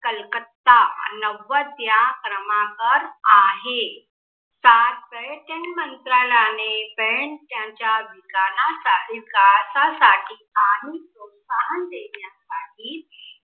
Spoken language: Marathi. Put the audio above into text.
कलकत्ता नव्वद या क्रमांकवर आहे. सात पर्यटन मंत्रालयाने पण त्यांच्या विकासासाठी कानून प्रोत्साहन देण्यासाठी